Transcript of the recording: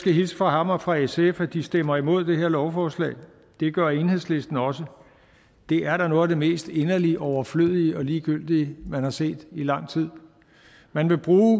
hilse fra ham og fra sf og de stemmer imod det her lovforslag det gør enhedslisten også det er da noget af det mest inderligt overflødige og ligegyldige man har set i lang tid man vil bruge